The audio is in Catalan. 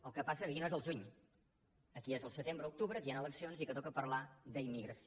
el que passa que aquí no és el juny aquí és el setembre octubre aquí hi han eleccions i toca parlar d’immigració